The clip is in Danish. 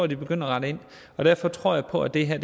de begynde at rette ind derfor tror jeg på at det her